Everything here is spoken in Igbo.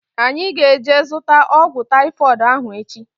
Anyị ga-eje zụta ọgwụ taifọdụ ahu echi